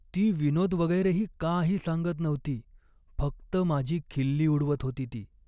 ती विनोद वगैरेही काही सांगत नव्हती, फक्त माझी खिल्ली उडवत होती ती.